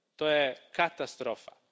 To je katastrofa.